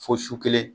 Fo su kelen